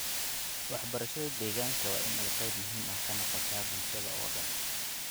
Waxbarashada deegaanka waa in ay qayb muhiim ah ka noqotaa bulshada oo dhan.